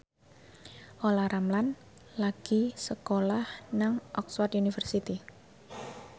Olla Ramlan lagi sekolah nang Oxford university